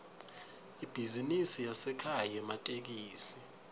ibhizinisi yasekhaya yematekisi